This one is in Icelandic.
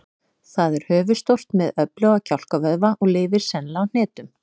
Það er höfuðstórt með öfluga kjálkavöðva og lifir sennilega á hnetum.